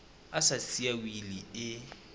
a sa siya wili e